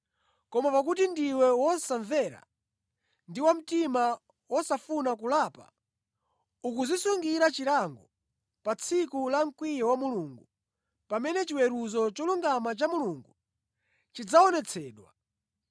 Koma pakuti ndiwe wosamvera ndi wa mtima wosafuna kulapa, ukudzisungira chilango pa tsiku la mkwiyo wa Mulungu, pamene chiweruzo cholungama cha Mulungu chidzaonetsedwa.